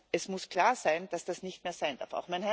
Es muss klar sein, dass das nicht mehr sein darf.